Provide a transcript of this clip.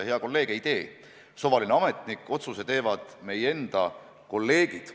Hea kolleeg, ei tee suvaline ametnik, otsuse teevad meie enda kolleegid.